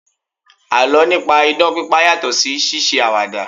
Àlọ́ nípa idán pípa yàtọ̀ sí ṣíṣe àwàdà